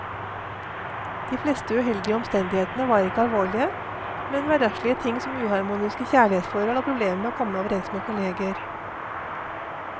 De fleste uheldige omstendighetene var ikke alvorlige, men hverdagslige ting som uharmoniske kjærlighetsforhold og problemer med å komme overens med kolleger.